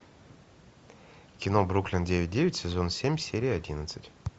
кино бруклин девять девять сезон семь серия одиннадцать